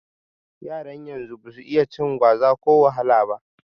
Yaran yanzu basu iya cin gwaza ko wahala ba